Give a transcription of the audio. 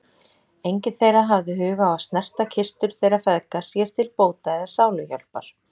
Enginn þeirra hafði hug á að snerta kistur þeirra feðga sér til bóta eða sáluhjálpar.